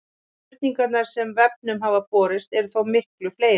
Spurningarnar sem vefnum hafa borist eru þó miklu fleiri.